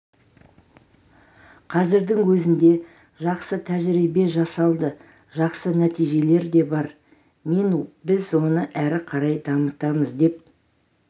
қазірдің өзінде жақсы тәжірибе жасалды жақсы нәтижелер де бар мен біз оны ары қарай дамытамыз деп